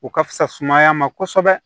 O ka fisa sumaya ma kosɛbɛ